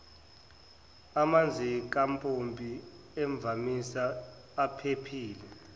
amanzikampompi imvamisa aphephile